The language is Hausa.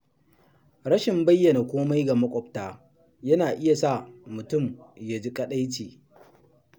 Rashin bayyana komai ga maƙwabta yana iya sa mutum ya ji kaɗaici.